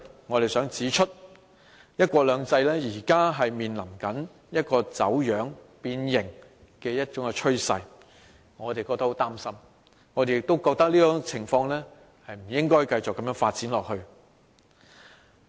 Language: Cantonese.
我們在信中指出，"一國兩制"現正面臨走樣、變形的趨勢，我們感到很擔心，認為這種情況不應繼續發展下去。